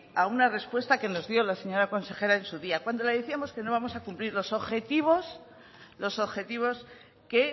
a una respuesta que nos dio la señora consejera en su día cuando la decíamos que no íbamos a cumplir los objetivos los objetivos que